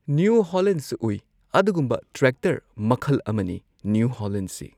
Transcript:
New ꯍꯣꯂꯦꯟꯁꯨ ꯎꯏ ꯑꯗꯨꯒꯨꯝꯕ ꯇ꯭ꯔꯦꯛꯇꯔ ꯃꯈꯜ ꯑꯃꯅꯤ ꯅ꯭ꯌꯨ ꯍꯣꯂꯦꯟꯁꯤ꯫